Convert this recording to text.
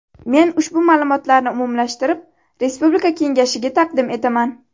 Men ushbu ma’lumotlarni umumlashtirib respublika kengashiga taqdim etaman.